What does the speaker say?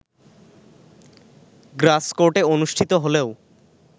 গ্রাস কোর্টে অনুষ্ঠিত হলেও